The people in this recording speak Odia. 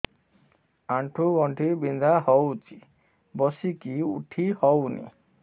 ଆଣ୍ଠୁ ଗଣ୍ଠି ବିନ୍ଧା ହଉଚି ବସିକି ଉଠି ହଉନି